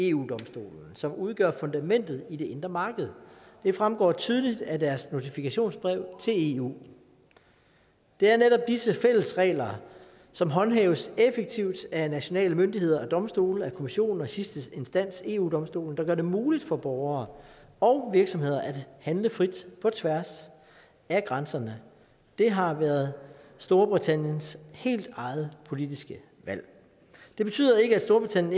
eu domstolen som udgør fundamentet i det indre marked det fremgår tydeligt af deres notifikationsbrev til eu det er netop disse fælles regler som håndhæves effektivt af nationale myndigheder af domstole af kommissionen og i sidste instans eu domstolen der gør det muligt for borgere og virksomheder at handle frit på tværs af grænserne det har været storbritanniens helt eget politiske valg det betyder ikke at storbritannien